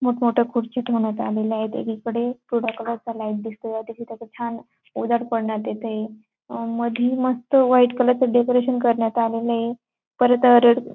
मोठ मोठ्या खुर्ची ठेवण्यात आलेले आहे एकी इकडे कोरड्या कलरचा लाईट दिसतो आहे तिथे त्याचा छान उजेड पडण्यात येते अं मधली मस्त व्हाईट कलरचे असे डेकोरेशन करण्यात आलेले आहे परत रेड --